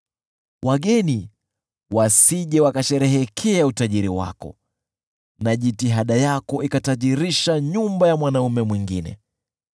wageni wasije wakasherehekea utajiri wako na jitihada yako ikatajirisha nyumba ya mwanaume mwingine.